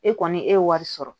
E kɔni e ye wari sɔrɔ